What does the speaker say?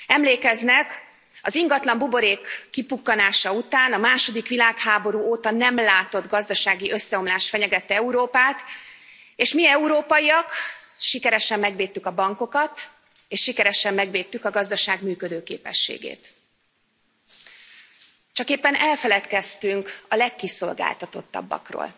Emlékeznek, az ingatlanbuborék kipukkanása után a második világháború óta nem látott gazdasági összeomlás fenyegette Európát, és mi európaiak sikeresen megvédtük a bankokat és sikeresen megvédtük a gazdaság működőképességét. Csak éppen elfeledkeztünk a legkiszolgáltatottabbakról,